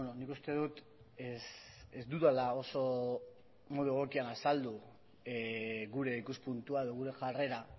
nik uste dut ez dudala oso modu egokian azaldu gure ikuspuntua edo gure jarrera